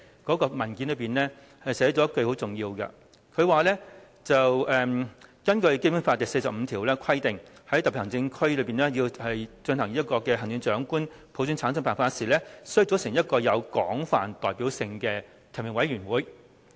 該文件中其中很重要的一句，就是"根據香港基本法第四十五條的規定，在香港特別行政區行政長官實行普選產生的辦法時，須組成一個有廣泛代表性的提名委員會。